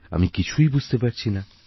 আমি কিছুই বুঝতে পারছি না